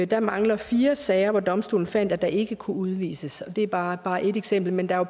der mangler fire sager hvor domstolen fandt at der ikke kunne udvises det er bare bare ét eksempel men der er